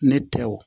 Ne tɛ wo